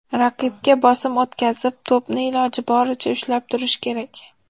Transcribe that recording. Raqibga bosim o‘tkazib, to‘pni iloji boricha ushlab turish kerak.